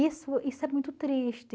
Isso isso é muito triste.